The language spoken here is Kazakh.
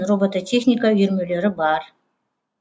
робототехника үйірмелері бар